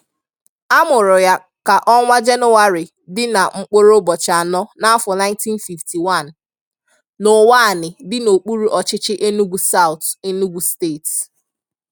A mụrụ ya ka ọnwa Jenụwarị dị na mkpụrụ ụbọchị anọ n'afọ 1951, n'Uwani dị n'okpuru ọchịchị Enugu Saụt, Enugu steeti.